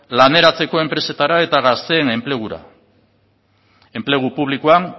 laneratzeko enpresetara eta gazteen enplegura enplegu publikoan